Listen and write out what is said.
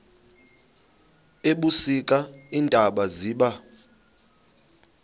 ebusika iintaba ziba